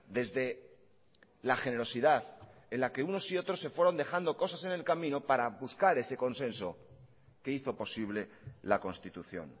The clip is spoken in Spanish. desde la generosidad en la que unos y otros se fueron dejando cosas en el camino para buscar ese consenso que hizo posible la constitución